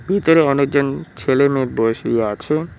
ভিতরে অনেকজন ছেলে মেয়ে বসিয়ে আছে।